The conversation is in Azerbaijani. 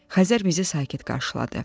Xəzər bizi sakit qarşıladı.